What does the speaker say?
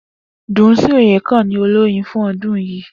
Dunsin oyekan ni olórin fún ọdún yìí